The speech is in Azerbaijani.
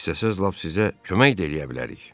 İstəsəz lap sizə kömək də eləyə bilərik.